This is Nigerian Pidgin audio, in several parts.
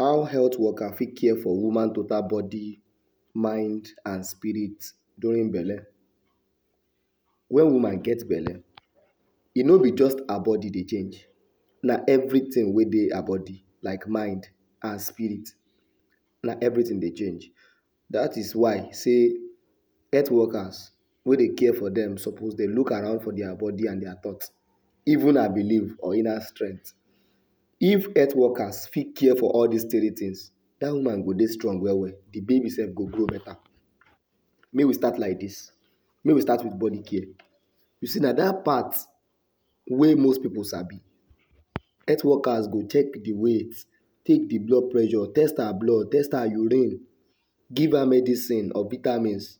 How health worker fit care for woman total body, mind and spirit during belle? Wen woman get belle, e no be just her body dey change, na everything wey dey her body like mind and spirit. Na everything dey change, dat is why sey health workers wey dey care for dem suppose dey look around for dia bodi and dia thought, even her believe or inner strength. if health worker fit care for all dis three things, dat woman go dey strong well well de baby sef go grow beta. Make we start like dis, make we start with bodi care. You see na dat part wey most pipu sabi, health workers go check the weight, take de blood pressure, test her blood, test her urine give her medicine or vitamins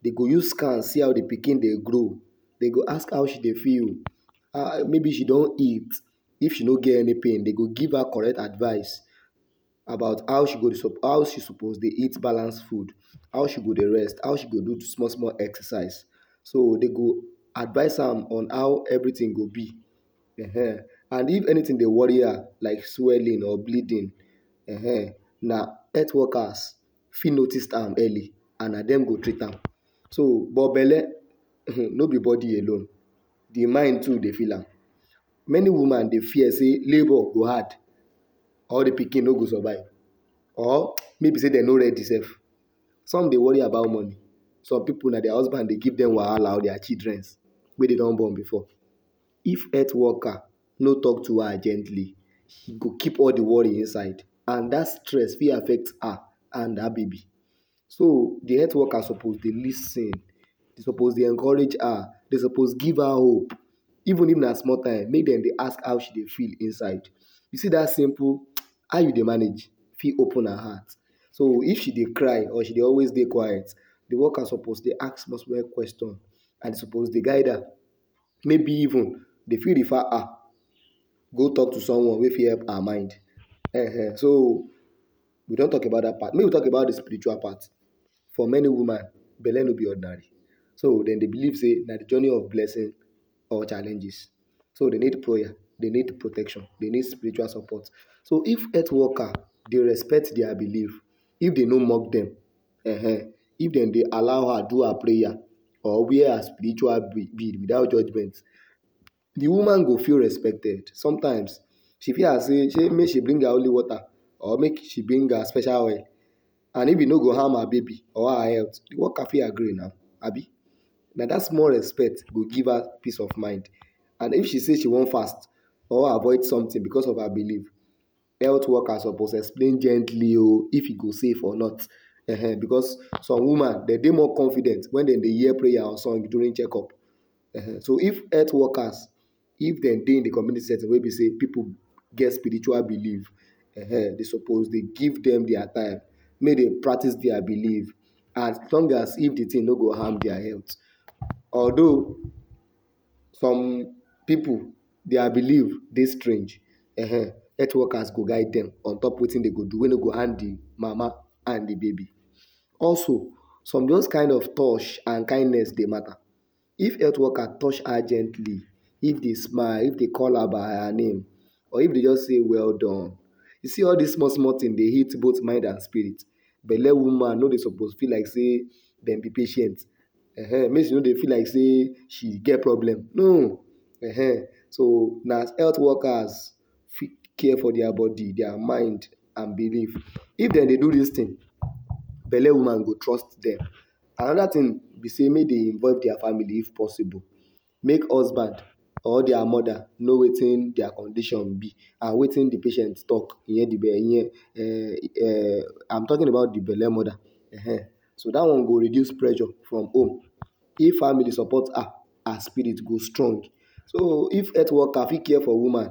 dey go use scan see how de pikin dey grow, dey go ask how she dey feel, maybe she don eat, if she no get any pain dey go give her correct advice about how she go suppose how she suppose dey eat balance food, how she go dey rest, how she go dey do small small exercise. So dey go advice am on how everything go be um and if anything dey worry her like swelling or bleeding um na health workers fit notice am early and na dem go treat am. So but belle um no be body alone, de mind too dey feel am. Many woman dey fear sey labour go hard or de pikin no go survive or maybe sey dey no ready sef, some dey worry about money. Some pipu na dia husband dey give dem wahala or dia childrens wey dey don born before. If health worker no talk to her gently, she go keep all de worry inside and dat stress fit affect her and her baby so de health worker suppose dey lis ten, dey suppose dey encourage her, dey suppose give her hope even if na small time make dem dey ask how she dey feel inside. You see dat simple how you dey manage fit open her heart, so if she dey cry or she dey always dey quiet, de worker suppose dey ask small small questions and suppose dey guide her maybe even dey fit refer her go talk to someone wey fit help her mind ehen so we don talk about dat part. Make we talk about the spiritual part, for many woman belle no be ordinary, so dem dey believe say na de journey of blessing or challenges so dey need prayer, dey need protection, dey need spiritual support, so if health worker dey respect dia believe if dey no mock dem um if dem dey allow her do her prayer or wear her spiritual bead without judgement de woman go feel respected sometimes she fit ask say make she bring her holy water or make she bring her special oil and if e no go harm her baby or her health, de worker fit agree now abi, na dat small respect go give her peace of mind and if she say she want fast or avoid something becos of her believe, health worker suppose explain gently o, if e go safe or not ehen becos some woman dem dey more confident wen dem dey hear prayer or song during check up um so if health workers if dem dey in de community setting wey be sey pipu get spiritual belive um dey suppose dey give dem dia time make dem practice dia believe as long as if de thing no go harm dia health. Although, some pipu dia believe dey strange um health workers go guide dem on top wetin dey go do wey no harm de mama and de baby. Also some those kind of touch and kindness dey mata. If health worker touch her gently if dey smile if dey call her by her name or if dey just say welldone. You see all dis small small things dey hit both mind and spirit. Belle woman no dey suppose feel like sey dem be patient um make she no dey feel like say she get problem no um so na health workers fit care for dia bodi dia mind and believe. If dem dey do dis thing, belle woman go trust dem. Another thing be sey make dem involve dia family if possible, make husband or dia mother know wetin dia condition be and wetin de patient talk hear hear um um am talking about de belle mother um so dat one go reduce pressure from home, if family support her, her spirit go strong or so if health worker fit care for woman,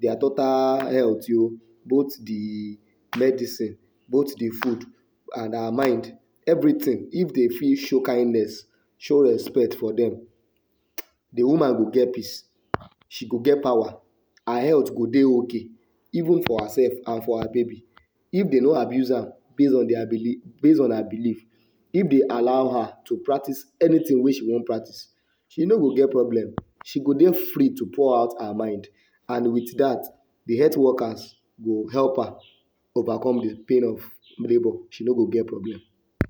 dia total health o both de medicine both de food and her mind everything. If dey fit show kindness, show respect for dem, de woman go get peace, she go get power, her health go dey ok even for hersef and for her baby. If dey no abuse am base on dia believe base on her believe, if dey allow her to practice anything wey she want practice she no go get problem, she go dey free to pour out her mind and with dat, de health workers go help her overcome de pain of labour. She no go get problem.